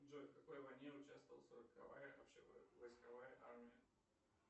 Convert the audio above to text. джой в какой войне участвовала сороковая общевойсковая армия